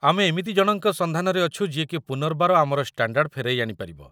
ଆମେ ଏମିତି ଜଣଙ୍କ ସନ୍ଧାନରେ ଅଛୁ ଯିଏକି ପୁନର୍ବାର ଆମର ଷ୍ଟାଣ୍ଡାର୍ଡ ଫେରାଇ ଆଣିପାରିବ